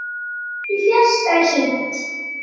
Í fjarska er hringt.